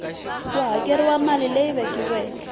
ku hakeriwile mali leyi vekiweke